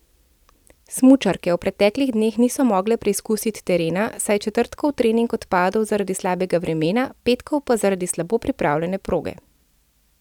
Smučarke v preteklih dneh niso mogle preizkusiti terena, saj je četrtkov trening odpadel zaradi slabega vremena, petkov pa zaradi slabo pripravljene proge.